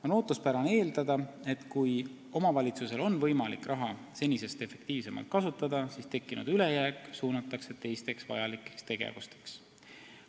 On ootuspärane eeldada, et kui omavalitsusel on võimalik raha senisest efektiivsemalt kasutada, siis suunatakse tekkinud ülejääk teistele vajalikele tegevustele.